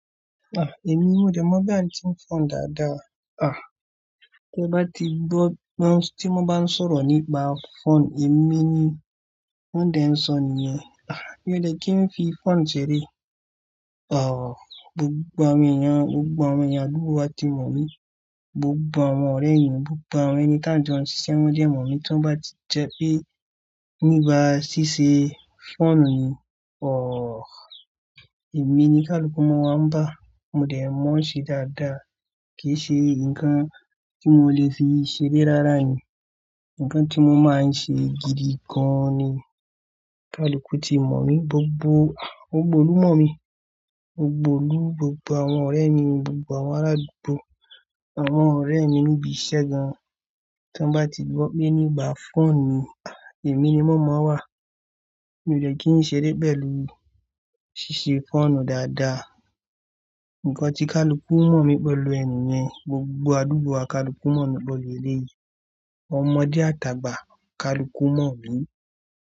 Ah! Èmi ni mo dẹ̀ mọ́ bí àǹtí ń fọ́n dáadáa. Ah! Tí ẹ bá ti gbọ́, tí wọ́n bá ń sọ̀rọ̀ nípa fọ́n, èmi ni wọ́n dẹ̀ ń sọ nìyẹn. Ah! Mi ò lè kí n fi fọ́n ṣeré. Ọ̀h! Gbogbo àwọn èèyàn, gbogbo àwọn ènìyàn, àdúgbò wa ti mọ̀ mí. Gbogbo àwọn ọ̀rẹ́ mi, gbogbo àwọn ẹni tí à ń jọ ń ṣiṣẹ́, wọ́n dẹ̀ mọ̀ mí tí wọ́n bá ti jẹ pé nígbà ṣíṣe fọ́n ni, ọ̀h! Èmi ni kaluku ọmọ ọwọ́ ń bá. Mo dẹ̀ máa ń ṣe dáadáa. Kì í ṣe nǹkan tí mo lè fi ṣeré rárá nì. Nǹkan tí mo máa ń ṣe gidi gan-an ni. Kaluku ti mọ̀ mí, gbogbo, gbogbo olúmọ̀ mi, gbogbo olú, gbogbo àwọn ọ̀rẹ́ mi, gbogbo àwọn aládùúgbò, àwọn ọ̀rẹ́ mi níbi iṣẹ́ gan-an tí wọ́n bá ti gbọ́ pé nígbà fọ́n ni, èmi ni mọ̀ọ́mọ́ wà. Mi ò lè kí n ṣeré bẹ́ẹ̀ lórí ṣíṣe fọ́nù dáadáa. Nǹkan tí kaluku mọ̀ mí pẹ̀lú ẹmi yẹn, gbogbo àdúgbò wa, kaluku mọ̀ mí pẹ̀lú ilé yìí. Ọmọdé àtàgbà, kaluku mọ̀ mí.